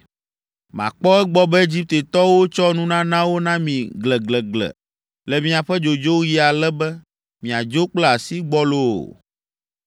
“Makpɔ egbɔ be Egiptetɔwo tsɔ nunanawo na mi gleglegle le miaƒe dzodzoɣi ale be miadzo kple asi gbɔlo o!